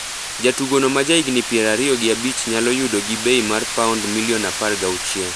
Jatugono ma ja higni pier ariyo gi abich nyalo yudo gi bei mar paond milion apar gi auchiel.